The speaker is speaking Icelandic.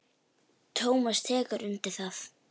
Tómas tekur undir það.